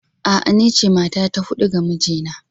A'a, ni ce mata ta hudu ga mijina